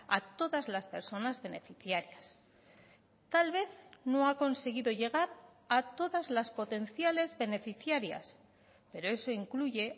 a todas las personas beneficiarias tal vez no ha conseguido llegar a todas las potenciales beneficiarias pero eso incluye